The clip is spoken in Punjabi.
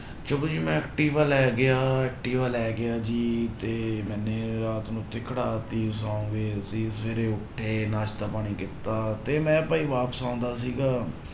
ਚਲੋ ਜੀ ਮੈਂ ਐਕਟਿਵਾ ਲੈ ਗਿਆ, ਐਕਟਵਿਾ ਲੈ ਗਿਆ ਜੀ ਤੇ ਮੈਨੇ ਰਾਤ ਨੂੰ ਉੱਥੇ ਖੜਾ ਦਿੱਤੀ, ਸੌਂ ਗਏ ਅਸੀਂ ਸਵੇਰੇ ਉੱਠੇ, ਨਾਸ਼ਤਾ ਪਾਣੀ ਕੀਤਾ ਤੇ ਮੈਂ ਭਾਈ ਵਾਪਸ ਆਉਂਦਾ ਸੀਗਾ,